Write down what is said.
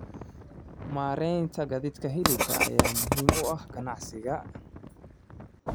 Maareynta gaadiidka hilibka ayaa muhiim u ah ganacsiga.